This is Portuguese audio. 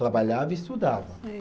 Trabalhava e estudava. Sei